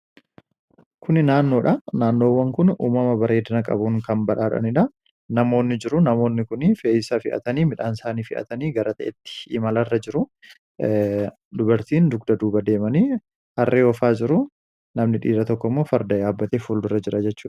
kuni naannoodha naannoowwan kun uumama bareedina qabuun kan badhaadhaniidha namoonni jiru namoonni kuni fee, isaa fe, atanii midhaansaanii fi'atanii gara ta'etti imalarra jiru dubartiin dugda duba deemanii harree oofaa jiru namni dhiira tokkimoo farda yaabbatee fuuldurra jira jechudha.